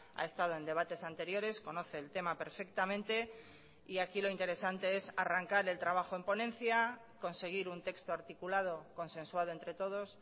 ha estado en debates anteriores conoce el tema perfectamente y aquí lo interesante es arrancar el trabajo en ponencia conseguir un texto articulado consensuado entre todos